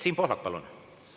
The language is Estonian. Siim Pohlak, palun!